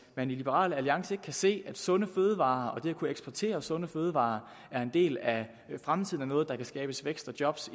man i liberal alliance ikke kan se at sunde fødevarer og at kunne eksportere sunde fødevarer er en del af fremtiden og noget der kan skabes vækst og job